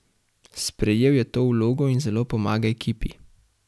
Sprejel je to vlogo in zelo pomaga ekipi.